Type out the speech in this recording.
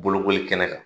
Bolokoli kɛnɛ kan